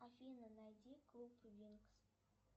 афина найди клуб винкс